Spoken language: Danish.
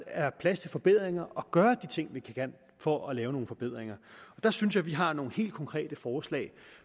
er plads til forbedringer og gøre de ting vi kan for at lave nogle forbedringer der synes jeg vi har nogle helt konkrete forslag